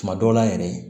Tuma dɔw la yɛrɛ